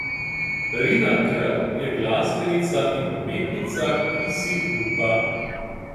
Rina K je glasbenica in umetnica, ki si upa.